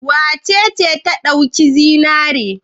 Wace ce ta ɗauki zinare?